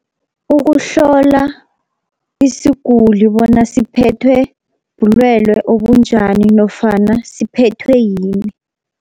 Ukuhlola isiguli bona siphethwe bulwelwe obunjani nofana siphethwe yini.